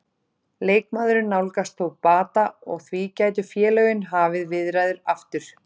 Leikmaðurinn nálgast þó bata og því gætu félögin hafið viðræður aftur.